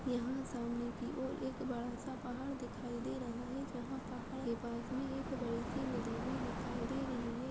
यहां सामने की और बड़ा सा पहाड़ दिखाई दे रहा है जहां पहाड़ के पास मे एक बड़ी सी नदी भी दिखाई दे रही है।